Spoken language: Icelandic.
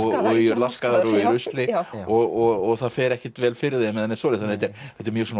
laskaðar og í rusli og það fer ekkert vel fyrir þeim þetta er mjög